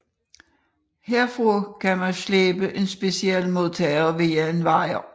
Herfra man kunne slæbe en speciel modtager via en wire